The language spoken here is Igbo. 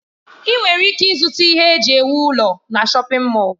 Ị nwere ike ịzụta ihe eji ewu ụlọ na shọpin Mọll.